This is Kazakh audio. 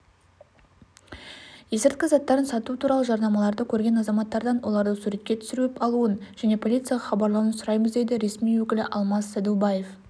есірткі заттарын сату туралы жарнамаларды көрген азаматтардан оларды суретке түсіруіп алуын және полицияға хабарлауын сұраймыз дейді ресми өкілі алмас сәдубаев